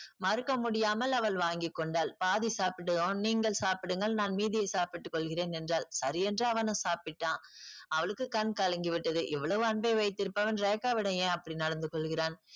மறுக்க முடியாமல் அவள் வாங்கி கொண்டாள். பாதி சாப்பிட்டதும் நீங்கள் சாப்பிடுங்கள் நான் மீதியை சாப்பிட்டுக் கொள்கிறேன் என்றாள். சரியென்று அவனும் சாப்பிட்டான். அவளுக்கு கண் கலங்கி விட்டது. இவ்வளவு அன்பை வைத்திருப்பவன் ரேகாவிடம் ஏன் அப்படி நடந்து கொள்கிறான்?